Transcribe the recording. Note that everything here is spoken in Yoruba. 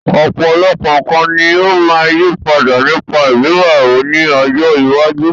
Ọ̀pọ̀lọpọ̀ nǹkan ní ó máa yí padà nípa ìgbéyàwó ní ọjọ́ iwájú.